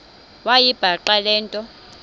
wayibhaqa le nto